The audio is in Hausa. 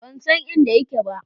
Ban san inda yake ba.